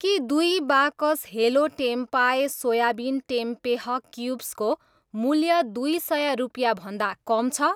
के दुई बाकस हेलो टेम्पाए सोयाबिन टेम्पेह क्युब्सको मूल्य दुई सय रुपियाँभन्दा कम छ?